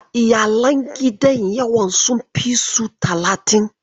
Iyalan gidan yawan sun fi su talatin.